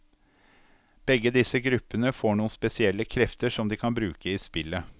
Begge disse gruppene får noen spesielle krefter som de kan bruke i spillet.